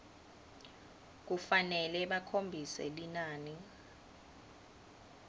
kufanele bakhombise linani